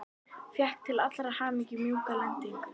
Fékk til allrar hamingju mjúka lendingu.